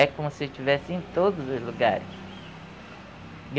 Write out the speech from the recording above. É como se eu estivesse em todos os lugares.